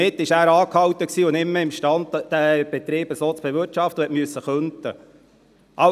Damit war er gestoppt und nicht mehr im Stande, diesen Betrieb so zu bewirtschaften, und er musste kündigen.